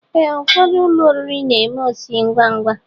Ee, ụfọdụ ụlọ oriri n'eme osi ngwa ngwa